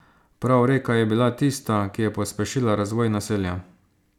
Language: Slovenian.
Prav reka je bila tista, ki je pospešila razvoj naselja.